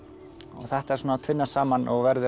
þetta tvinnast saman og verður að